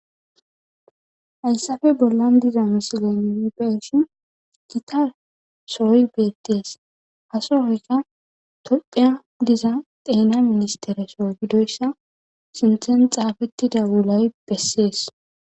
Hayssafe bollan diza misilen nu be7ishin gita sohoy beettees. Ha sohoyka tophiya diza xeena ministtere soo gidoyssa sinthan xaafettida wulay bessees.